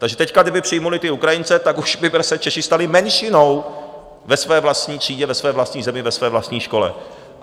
Takže teď kdyby přijali ty Ukrajince, tak už by se Češi stali menšinou ve své vlastní třídě, ve své vlastní zemi, ve své vlastní škole.